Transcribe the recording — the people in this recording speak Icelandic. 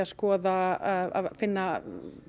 skoða að finna